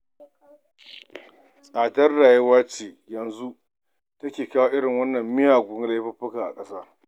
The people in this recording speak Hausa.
Tsadar rayuwa ce yanzu take kawo irin waɗannan miyagun laifuka a ƙasa.